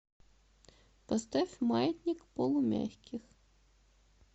поставь маятник полумягких